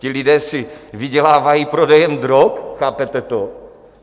Ti lidé si vydělávají prodejem drog, chápete to?